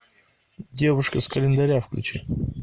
девушка с календаря включи